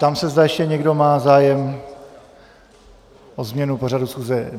Ptám se, zda ještě někdo má zájem o změnu pořadu schůze.